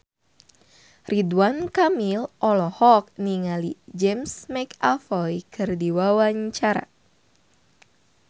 Ridwan Kamil olohok ningali James McAvoy keur diwawancara